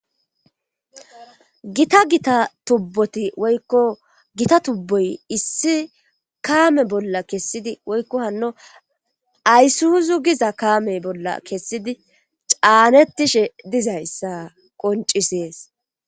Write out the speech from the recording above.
Gita gita tubboti woykko gita tubboy issi kaame bolla kessidi woykko hanno aysuuzu giza kaame bolla kessidi caanettishe dizayssa qoncisees.